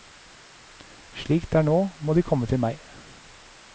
Slik det er nå, må de komme til meg.